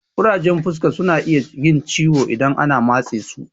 Ƙurajen fuska suna iya yin ciwo idan an matse su